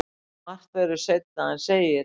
Margt verður seinna en segir.